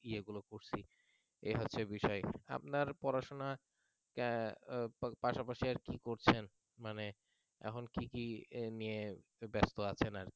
এই হচ্চে বিষয় আপনার পড়াশোনার পাশাপাশি আর কি করছেন মানে এখন কি কি নিয়ে ব্যস্ত আছেন আর কি